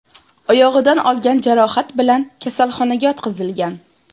oyog‘idan olgan jarohat bilan kasalxonaga yotqizilgan.